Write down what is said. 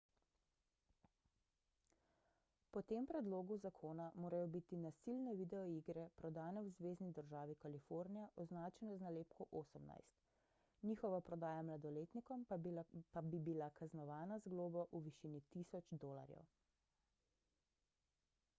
po tem predlogu zakona morajo biti nasilne videoigre prodane v zvezni državi kalifornija označene z nalepko 18 njihova prodaja mladoletnikom pa bi bila kaznovana z globo v višini 1000 dolarjev